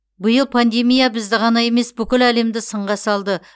биыл пандемия бізді ғана емес бүкіл әлемді сынға салды